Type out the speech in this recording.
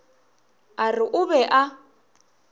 a re o be a